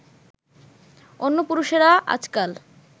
অন্য পুরুষেরা আজকাল